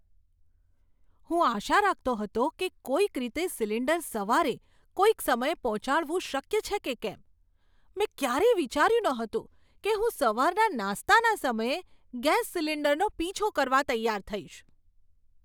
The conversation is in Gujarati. હું આશા રાખતો હતો કે કોઈક રીતે સિલિન્ડર સવારે કોઈક સમયે પહોંચાડવું શક્ય છે કે કેમ. મેં ક્યારેય વિચાર્યું નહોતું કે હું સવારના નાસ્તાના સમયે ગેસ સિલિન્ડરનો પીછો કરવા તૈયાર થઈશ!